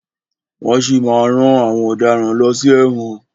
Wọ́n si máa má rán àwọn ọ̀daràn lọ sí ẹ̀wọ̀n.